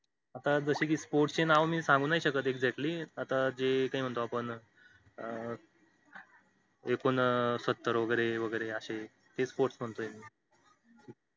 आता जस कि sports ची नाव मी नाही सांगू शकत exactly आता जे काही म्हणतो आपण अं एकोणसत्तर वगैरे अशे अशे हे sports म्हणतोय मी